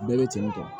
Bɛɛ bɛ cɛnni dɔn